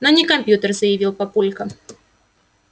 но не компьютер заявил папулька